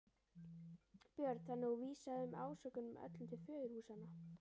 Björn: Þannig að þú vísar þessum ásökunum öllum til föðurhúsanna?